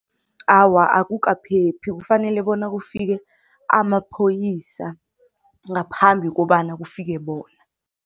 Awa, akukaphephi kufanele bona kufike amapholisa ngaphambi kobana kufike bona.